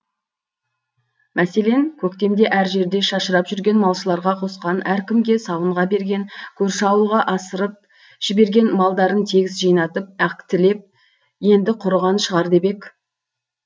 мәселен көктемде әр жерде шашырап жүрген малшыларға қосқан әркімге сауынға берген көрші ауылға асырып жіберген малдарын тегіс жинатып актілеп енді құрыған шығар деп ек